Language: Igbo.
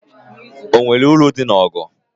O nweghị uru dị n'ọgụ.